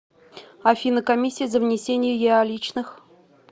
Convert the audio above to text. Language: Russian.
афина комиссия за внесение еаличных